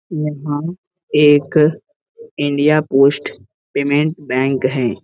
यहाँ एक India Post payment bank है।